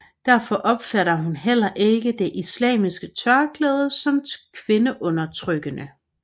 Derfor opfatter hun heller ikke det islamiske tørklæde som kvindeundertrykkende